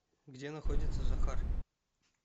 где находится захар